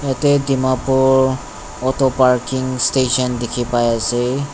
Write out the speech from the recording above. yatae dimapur auto parking station dikhipaiase.